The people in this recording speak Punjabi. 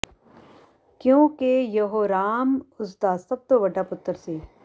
ਕਿਉਂ ਕਿ ਯਹੋਰਾਮ ਉਸਦਾ ਸਭ ਤੋਂ ਵੱਡਾ ਪੁੱਤਰ ਸੀ